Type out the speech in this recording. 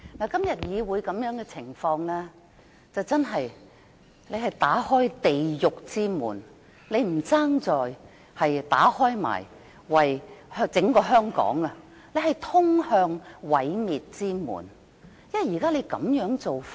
今天議會這種情況，真的是打開地獄之門，你倒不如也為整個香港打開毀滅之門，因為這種做法......